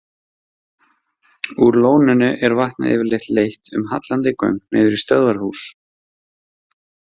Úr lóninu er vatnið yfirleitt leitt um hallandi göng niður í stöðvarhús.